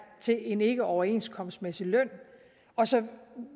til en ikkeoverenskomstmæssig løn og så